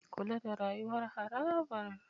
Kula da rayuwar harabar